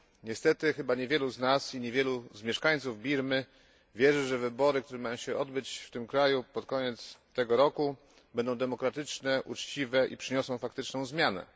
Niestety, chyba niewielu z nas i niewielu z mieszkańców Birmy wierzy, że wybory, które mają się odbyć w tym kraju pod koniec tego roku, będą demokratyczne, uczciwe i przyniosą faktyczną zmianę.